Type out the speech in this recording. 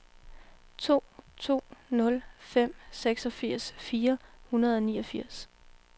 to to nul fem seksogfirs fire hundrede og niogfirs